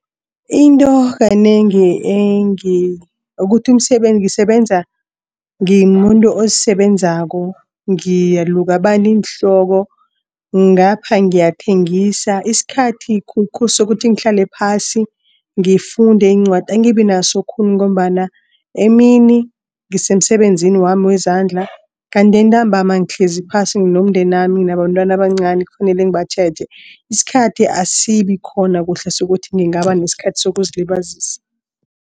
Into kanengi ukuthi ngisebenza ngimuntu ozisebenzako ngiyaluka abantu iinhloko ngapha ngiyathengisa isikhathi khulukhulu sokuthi ngihlale phasi ngifunde iincwadi angibinaso khulu. Ngombana emini ngisemsebenzinami wezandla. Kanti entambama ngihlezi phasi nomndenami nabantwana abancani kufanele ngibatjheje. Isikhathi asibikhona kuhle sokuthi ngingaba nesikhathi sokuzilibazisa.